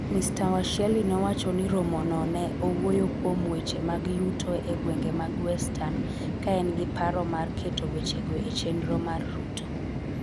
Mr Washiali nowacho ni romono ne owuoyo kuom weche mag yuto e gwenge mag Western ka en gi paro mar keto wechego e chenro mar Ruto.